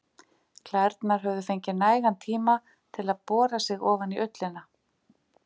Klærnar höfðu fengið nægan tíma til að bora sig ofan í ullina.